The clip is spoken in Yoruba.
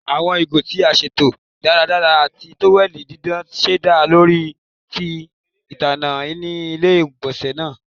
Awọn igo ti a ṣeto daradara ati toweli didan ṣẹda ori ti ilana ni ile-igbọnsẹ naa